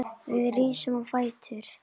Við rísum á fætur.